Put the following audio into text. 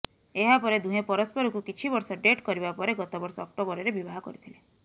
ଏହାପରେ ଦୁହେଁ ପରସ୍ପରକୁ କିଛି ବର୍ଷ ଡେଟ୍ କରିବା ପରେ ଗତବର୍ଷ ଅକ୍ଟୋବରରେ ବିବାହ କରିଥିଲେ